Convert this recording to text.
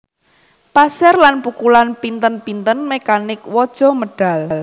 Pasir lan pukulan pinten pinten mekanik waja medhal